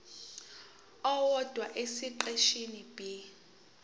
owodwa esiqeshini b